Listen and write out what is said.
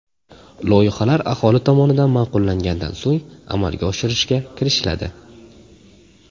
Loyihalar aholi tomonidan ma’qullangandan so‘ng amalga oshirishga kirishiladi.